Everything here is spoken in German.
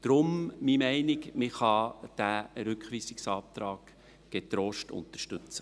Deshalb – so meine Meinung – kann man diesen Rückweisungsantrag getrost unterstützen.